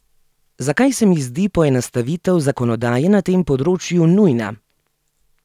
Zakaj se mi zdi poenostavitev zakonodaje na tem področju nujna?